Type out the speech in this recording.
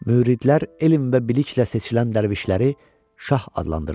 Müridlər elm və biliklə seçilən dərvişləri şah adlandırırlar.